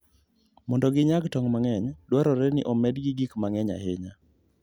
Mondo ginyag tong' mang'eny, dwarore ni omedgi gik mang'eny ahinya.